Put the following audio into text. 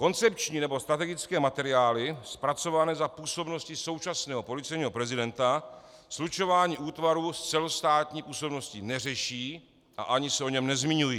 Koncepční nebo strategické materiály, zpracované za působnosti současného policejního prezidenta, slučování útvarů s celostátní působností neřeší a ani se o něm nezmiňují.